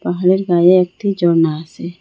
পাহাড়ের গায়ে একটি ঝর্না আসে।